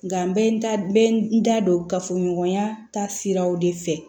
Nka n bɛ n da n da don gafe ɲɔgɔnya taa siraw de fɛ